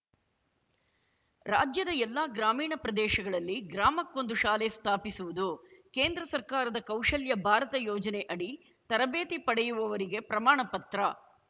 ರಾಜ್ಯದ ಎಲ್ಲಾ ಗ್ರಾಮೀಣ ಪ್ರದೇಶಗಳಲ್ಲಿ ಗ್ರಾಮಕ್ಕೊಂದು ಶಾಲೆ ಸ್ಥಾಪಿಸುವುದು ಕೇಂದ್ರ ಸರ್ಕಾರದ ಕೌಶಲ್ಯ ಭಾರತ ಯೋಜನೆ ಅಡಿ ತರಬೇತಿ ಪಡೆಯುವವರಿಗೆ ಪ್ರಮಾಣ ಪತ್ರ